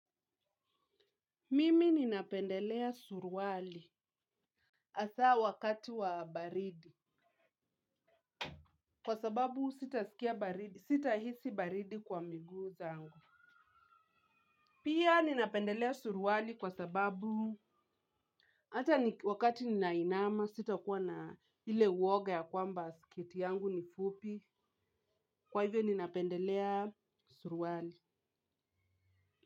Mimi ninapendelea suruali asaa wakati wa baridi kwa sababu sita hisi baridi kwa migu zangu. Pia ninapendelea suruali kwa sababu hata wakati ninainama sita kuwa na ile uwoga ya kwamba siketi yangu nifupi kwa hivyo ninapendelea suruali.